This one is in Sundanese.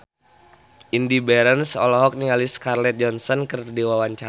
Indy Barens olohok ningali Scarlett Johansson keur diwawancara